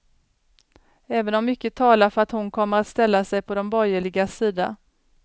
Även om mycket talar för att hon kommer att ställa sig på de borgerligas sida.